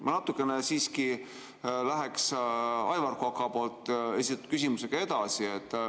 Ma natukene läheks Aivar Koka esitatud küsimusega edasi.